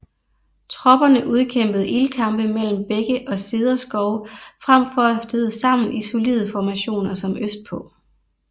Tropperne udkæmpede ildkampe mellem bække og cederskove frem for at støde sammen i solide formationer som østpå